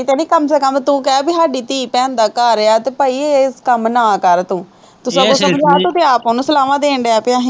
ਕਿਤੇ ਨਹੀਂ ਕਮ ਸੇ ਕਮ ਤੂੰ ਕਹਿ ਬਈ ਸਾਡੀ ਧੀ ਭੈਣ ਦਾ ਘਰ ਹੈ ਅਤੇ ਭਾਈ ਇਹ ਕੰੰਮ ਨਾ ਕਰ ਤੂੰ, ਤੂੰ ਤਾਂ ਸਗੋਂ ਤੂੰ ਤਾਂ ਆਪ ਉਹਨੂੰ ਸਲਾਵਾਂ ਦੇਣ ਡਿਆ